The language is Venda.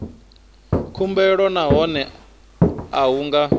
khumbelo nahone a hu nga